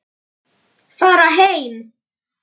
Farið og vekið manninn yðar.